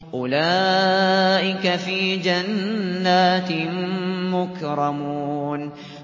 أُولَٰئِكَ فِي جَنَّاتٍ مُّكْرَمُونَ